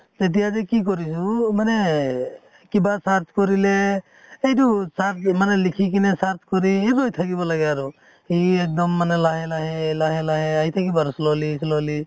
তেতিয়া যেকি কৰিছে ও মানে এহ কিবা search কৰিলে এইটো search মানে লিখি কিনে search ৰৈ থাকিব লাগে আৰু । সেই এক্দম মানে লাহে লাহে লাহে লাহে আহি থাকিব আৰু slowly slowly